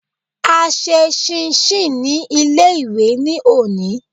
A ṣe ṣíínṣin ní ilé-ìwé ní òní